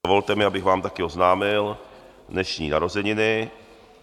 Dovolte mi, abych vám také oznámil dnešní narozeniny.